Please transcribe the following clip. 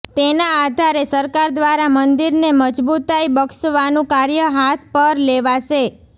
તેના આધારે સરકાર દ્વારા મંદિરને મજબૂતાઈ બક્ષવાનું કાર્ય હાથ પર લેવાશે